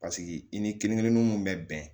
Paseke i ni kelen kelen nun bɛɛ bɛn